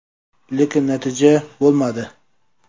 Lekin natija bo‘lmadi.